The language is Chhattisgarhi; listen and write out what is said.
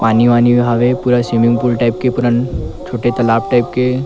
पानी वानी हवे पूरा स्विमिंग पूल टाइप के पूरा छोटे तालाब टाइप के--